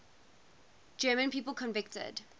german people convicted